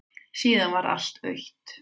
Síðan varð allt autt.